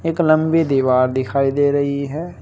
एक लंबी दीवार दिखाई दे रही है।